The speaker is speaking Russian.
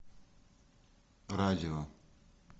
радио